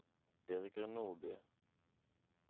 Birger Nordby